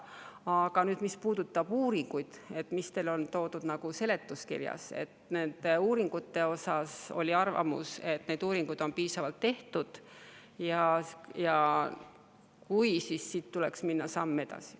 Aga mis puudutab uuringuid, mis teil on toodud seletuskirjas, siis nende kohta oli arvamus, et uuringuid on piisavalt tehtud, ja tuleks samm edasi.